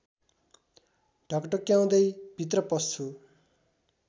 ढकढक्याउँदै भित्र पस्छु